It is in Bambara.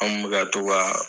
An me ka to ka